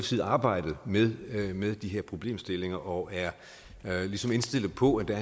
side arbejdet med med de her problemstillinger og er ligesom indstillet på at der